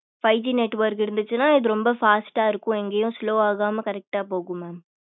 five G network இருந்துச்சுன்னா இது ரொம்ப fast டா இருக்கும். எங்கே slow வாகாம correct டா போகும் mam